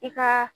I ka